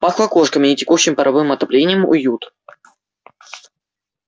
пахло кошками и текущим паровым отоплением уют